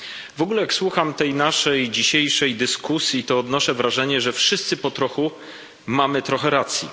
W ogóle jak słucham tej naszej dzisiejszej dyskusji, to odnoszę wrażenie, że wszyscy po trochu mamy trochę racji.